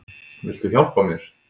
Viltu hjálpa mér?